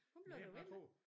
Hun blev da ved med